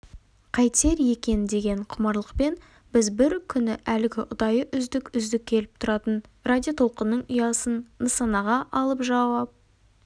қайтер екен деген құмарлықпен біз бір күні әлгі ұдайы үздік үздік келіп тұратын радиотолқынның ұясын нысанаға алып жауап